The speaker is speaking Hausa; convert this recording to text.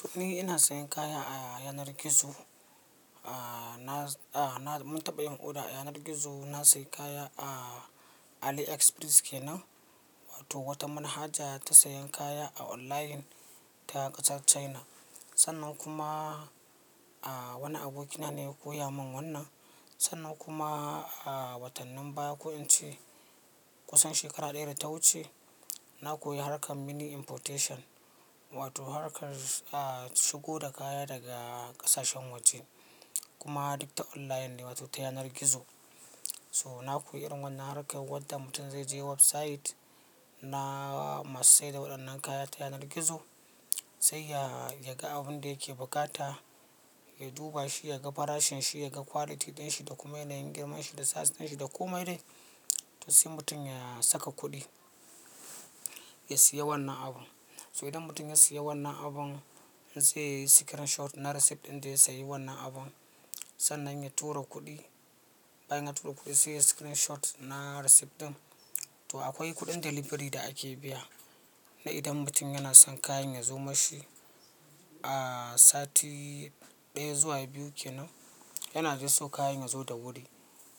To ni ina sayan kaya ta yanar gizo. Na, na mun taɓa yin oda a yanar gizo. Na sayi kaya a Aliexpress kenan, wato wata manhaja ta sayan kaya a online ta ƙasar China. Sannan kuma, a wani abokina ne ya koya min wannan. Sannan kuma a watannin baya, ko ince kusan shekara ɗaya da ta wuce na koyi harkar mini importation wato harkar shigo da kaya daga ƙasashen waje. Kuma duk ta online ne wato ta yanar gizo. So na koyi irin wannan harkar wadda mutum zai je website na masu saida waɗannan kaya ta yanar gizo, sai ya, ya ga abun da yake bukata, ya duba shi, ya ga farashin shi, ya ga quality ɗin shi da kuma yanayin girman shi da size ɗin shi da komai dai. To sai mutum ya saka kuɗi ya siya wannan abu. So idan mutum ya siya wannan abun zai yi screenshot na receipt ɗin da ya sayi wannan abun, sannan ya tura kuɗi. Bayan ya tura kuɗi sai ya yi screenshot na receipt ɗin. To akwai kuɗin delivery da ake biya. Na idan mutum yana son kayan ya zo mashi a sati ɗaya zuwa biyu kenan, yana dai so kayan ya zo da wuri.